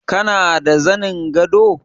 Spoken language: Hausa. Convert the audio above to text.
Kana da zanin gado?